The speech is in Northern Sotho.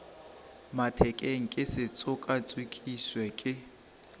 mathekeng ke se tšokatšokišwe ke